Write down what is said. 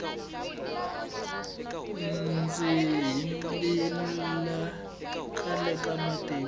ndzi yimbile khale ka matiko